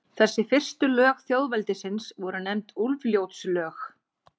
Þessi fyrstu lög þjóðveldisins voru nefnd Úlfljótslög.